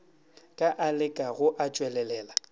ka a lekago a tšwelelela